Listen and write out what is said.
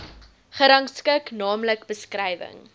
gerangskik naamlik beskrywing